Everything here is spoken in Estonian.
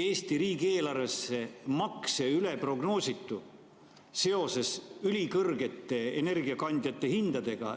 Eesti riigieelarvesse makse üle prognoositu seoses ülikõrgete energiakandjate hindadega?